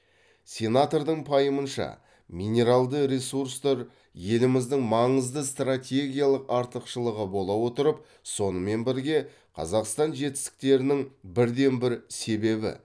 сенатордың пайымынша минералды ресурстар еліміздің маңызды стратегиялық артықшылығы бола отырып сонымен бірге қазақстан жетістіктерінің бірден бір себебі